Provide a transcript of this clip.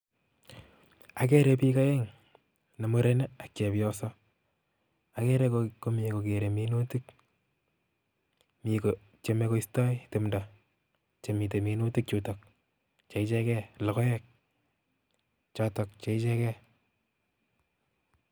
Ageere biik aeng' ne muren ak chepyoso. Ageere ko mi kogeere minutik mi kotyeme koistoi tumdo chemite minutik chutok cheichegei logoek chootok cheichegei